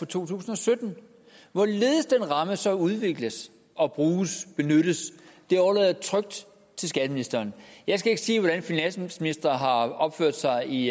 to tusind og sytten hvorledes den ramme så udvikles og bruges benyttes overlader jeg trygt til skatteministeren jeg skal ikke sige hvordan finansministre har opført sig i